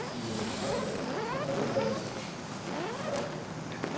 ну дыхание пока легальное пока что